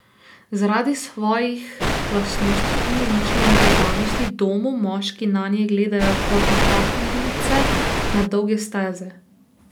Zaradi svojih lastnosti in značilne predanosti domu moški nanje gledajo kot na partnerice na dolge steze.